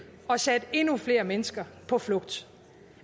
og sendt endnu flere mennesker på flugt